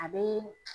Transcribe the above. A bɛ